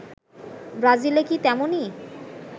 ব্রাজিলে কি তেমনই